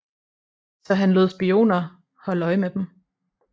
Så han lod spioner holde øje med dem